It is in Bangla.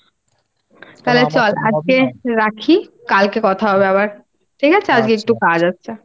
তালে চল আজকে রাখি কালকে কথা হবে আবার ঠিক আছে আজকে একটু কাজ আছে।